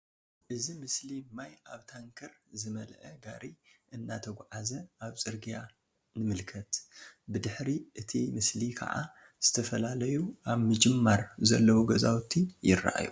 እዚ ምስሊ ማይ ኣብ ታንከር ዝመልአ ጋሪ እናተጉዓዓዘ ኣብ ፅርግያ ንምልከት። ብድሕሪት እቲ ምስሊ ከዓ ዝተፈላለዩ ኣብ ምጅማር ዘለዉ ገዛዉቲ ይርኣዩ።